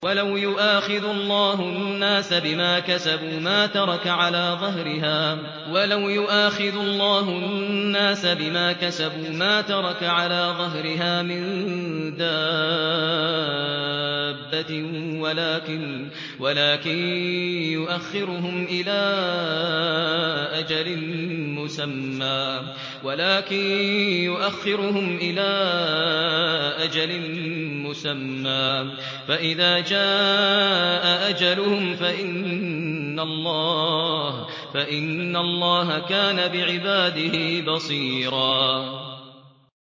وَلَوْ يُؤَاخِذُ اللَّهُ النَّاسَ بِمَا كَسَبُوا مَا تَرَكَ عَلَىٰ ظَهْرِهَا مِن دَابَّةٍ وَلَٰكِن يُؤَخِّرُهُمْ إِلَىٰ أَجَلٍ مُّسَمًّى ۖ فَإِذَا جَاءَ أَجَلُهُمْ فَإِنَّ اللَّهَ كَانَ بِعِبَادِهِ بَصِيرًا